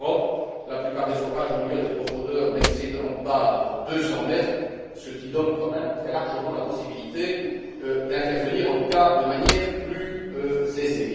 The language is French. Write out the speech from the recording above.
En Europe, la plupart des forages ont lieu à des profondeurs n'excédant pas 200 mètres, ce qui donne quand même très largement la possibilité d'intervenir, en tout cas de manière plus aisée.